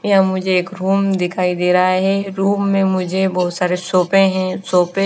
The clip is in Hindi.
यह पर मुझे एक रूम दिखाई दे रहा है रूम में मुझे बहुत सारे सोपे हैं सोपे --